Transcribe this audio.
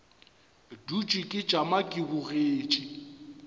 dutše ke tšama ke bogetše